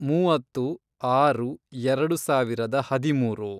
ಮೂವತ್ತು, ಆರು, ಎರೆಡು ಸಾವಿರದ ಹದಿಮೂರು